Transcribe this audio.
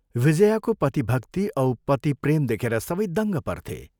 विजयाको पतिभक्ति औ पतिप्रेम देखेर सबै दङ्ग पर्थे।